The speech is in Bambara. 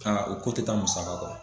Aa o ko te taa musaka kɔ.